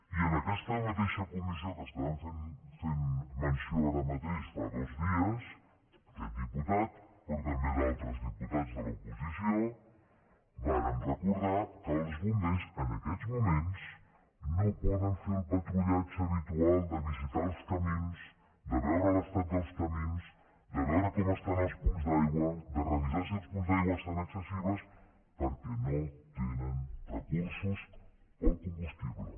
i en aquesta mateixa comissió de què estàvem fent menció ara mateix fa dos dies aquest diputat però també altres diputats de l’oposició vàrem recordar que els bombers en aquests moments no poden fer el patrullatge habitual de visitar els camins de veure l’estat dels camins de veure com estan els punts d’aigua de revisar si els punts d’aigua estan accessibles perquè no tenen recursos per al combustible